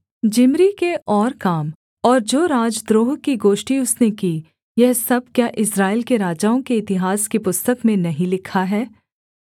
जिम्री के और काम और जो राजद्रोह की गोष्ठी उसने की यह सब क्या इस्राएल के राजाओं के इतिहास की पुस्तक में नहीं लिखा है